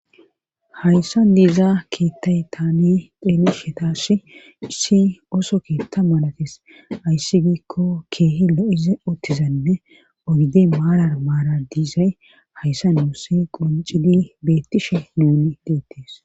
Hayssa diizaa keettay tane deeli shetaashi issi oso keetta malatis ayssi giikko keehi lo7ize ottizanne ogide maarar maara diizay hayssa nuussi qoncidi beettishe nuuni deettes